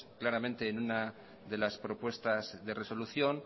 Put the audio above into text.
claramente en una de las propuestas de resolución